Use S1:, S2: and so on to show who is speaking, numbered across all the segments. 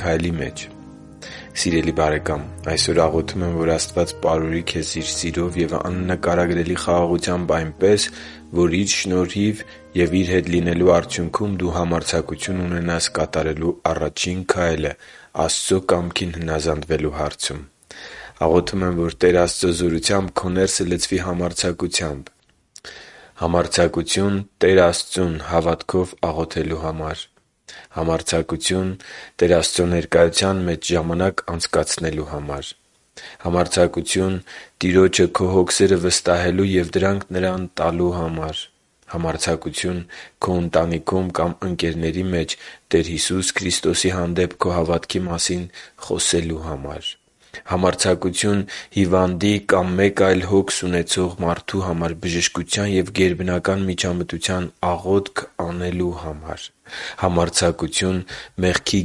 S1: քայլի մեջ։ Սիրելի՛ բարեկամ, այսօր աղոթում եմ, որ Աստված պարուրի քեզ Իր սիրով և աննկարագրելի խաղաղությամբ այնպես, որ Իր շնորհիվ և Իր հետ լինելու արդյունքում դու համարձակություն ունենաս կատարելու առաջին քայլը Աստծո կամքին հնազանդվելու հարցում։ Աղոթում եմ, որ Տեր Աստծո զորությամբ քո ներսը լցվի համարձակությամբ․․․ Համարձակություն՝ Տեր Աստծուն հավատքով աղոթելու համար․․․ Համարձակություն՝ Տեր Աստծո ներկայության մեջ ժամանակ անցկացնելու համար․․․ Համարձակություն՝ Տիրոջը քո հոգսերը վստահելու և դրանք Նրան տալու համար․․․ Համարձակություն՝ քո ընտանիքում կամ ընկերների մեջ Տեր Հիսուս Քրիստոսի հանդեպ քո հավատքի մասին խոսելու համար․․․ Համարձակություն՝ հիվանդի կամ մեկ այլ հոգս ունեցող մարդու համար բժշկության և գերբնական միջամտության աղոթք անելու համար․․․ Համարձակություն՝ մեղքի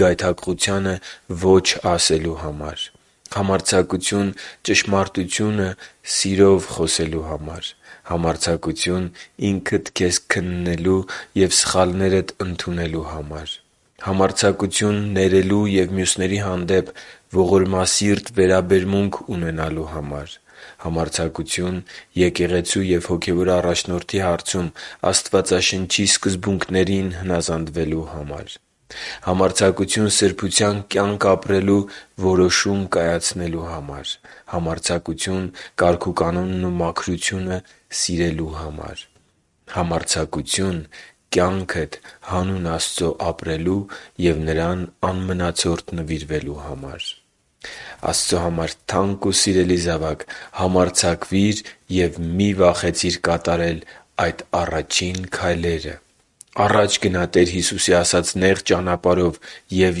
S1: գայթակղությանը ո՛չ ասելու համար․․․ Համարձակություն՝ ճշմարտությունը սիրով խոսելու համար․․․ Համարձակություն՝ ինքդ քեզ քննելու և սխալներդ ընդունելու համար․․․ Համարձակություն՝ ներելու և մյուսների հանդեպ ողորմասիրտ վերաբերմունք ունենալու համար․․․ Համարձակություն՝ եկեղեցու և հոգևոր առաջնորդի հարցում Աստվածաշնչի սկզբունքներին հնազանդվելու համար․․․ Համարձակություն՝ սրբության կյանք ապրելու որոշում կայացնելու համար․․․ Համարձակություն՝ կարգուկանոնն ու մաքրությունը սիրելու համար․․․ Համարձակություն՝ կյանքդ հանուն Աստծո ապրելու և Նրան անմնացորդ նվիրվելու համար․․․ Աստծո համար թանկ ու սիրելի՛ զավակ, համարձակվիր և մի՛ վախեցիր կատարել այդ առաջին քայլերը։ Առաջ գնա՛ Տեր Հիսուսի ասած նեղ ճանապարհով և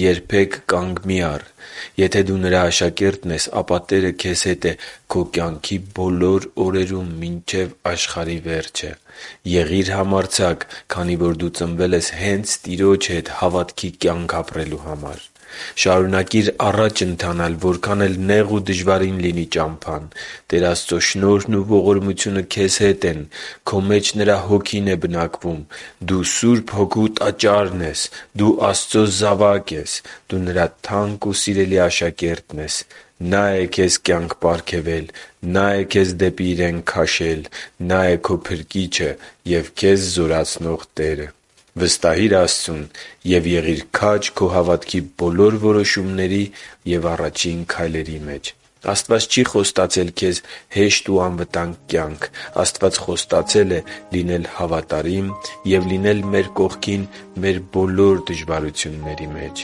S1: երբե՛ք կանգ մի առ։ Եթե դու Նրա աշակերտն ես, ապա Տերը քեզ հետ է քո կյանքի բոլոր օրերում մինչև աշխարհի վերջը։ Եղի՛ր համարձակ, քանի որ դու ծնվել ես հե՛նց Տիրոջ հետ հավատքի կյանք ապրելու համար։ Շարունակի՛ր առաջ ընթանալ, որքան էլ նեղ ու դժվարին լինի ճամփան։ Տեր Աստծո շնորհն ու ողորմությունը քեզ հետ են։ Քո մեջ Նրա Հոգին է բնակվում։ Դու Սուրբ Հոգու Տաճարն ես։ Դու Աստծո զավակ ես։ Դու Նրա թանկ ու սիրելի աշակերտն ես։ Նա՛ է քեզ կյանք պարգևել։ Նա՛ է քեզ դեպի Իրեն քաշել: Նա՛ է քո Փրկիչը և քեզ զորացնող Տերը։ Վստահի՛ր Աստծուն և եղի՛ր քաջ քո հավատքի բոլոր որոշումների և առաջին քայլերի մեջ։ Աստված չի խոստացել հեշտ ու անվտանգ կյանք։ Աստված խոստացել է լինել հավատարիմ և լինել մեր կողքին մեր բոլոր դժվարությունների մեջ։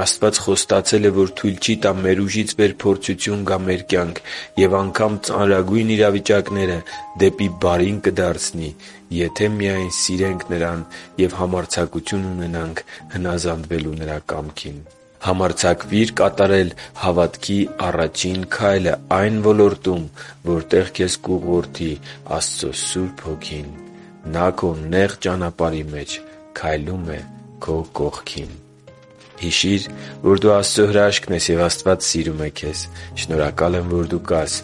S1: Աստված խոստացել է, որ թույլ չի տա մեր ուժից վեր փորձություն գա մեր կյանք, և անգամ ծանրագույն իրավիճակները դեպի բարին կդարձնի, եթե միայն մենք սիրենք Նրան և համարձակություն ունենանք հնազանդվելու Նրա կամքին։ Համարձակվի՛ր կատարել հավատքի առաջին քայլը այն ոլորտում, որտեղ քեզ կուղղորդի Աստծո Սուրբ Հոգին։ Նա քո նեղ ճանապարհի մեջ քայլում է քո կողքին․․․ Հիշի՛ր, որ դու Աստծո հրաշքն ես, և Աստված սիրում է քեզ։ Շնորհակալ եմ, որ դու կա՛ս։